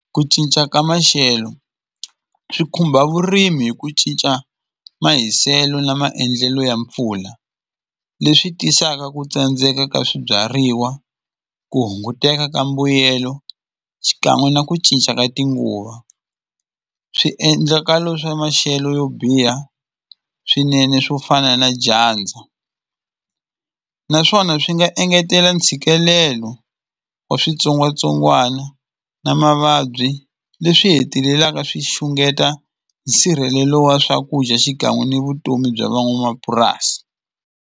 Ku cinca ka maxelo swi khumba vurimi hi ku cinca mahiselo na maendlelo ya mpfula leswi tisaka ku tsandzeka ka swibyariwa ku hunguteka ka mbuyelo xikan'we na ku cinca ka tinguva swiendlakalo swa maxelo yo biha swinene swo fana na dyandza naswona swi nga engetela ntshikelelo wa switsongwatsongwana na mavabyi leswi hetelelaka swi xungeta nsirhelelo wa swakudya xikan'we ni vutomi bya van'wamapurasi.